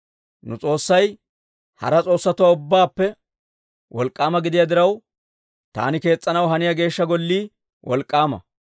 «Nu S'oossay hara s'oossatuwaa ubbaappe wolk'k'aama gidiyaa diraw, taani kees's'anaw haniyaa Geeshsha Gollii wolk'k'aama.